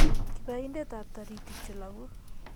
kibaindetap toriitik che logu